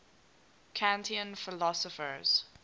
kantian philosophers